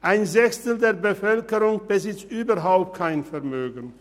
Ein Sechstel der Bevölkerung besitzt überhaupt kein Vermögen.